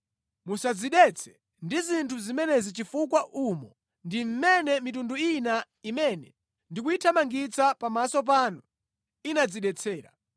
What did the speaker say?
“ ‘Musadzidetse ndi zinthu zimenezi chifukwa umo ndi mmene mitundu ina imene ndikuyithamangitsa pamaso panu inadzidetsera.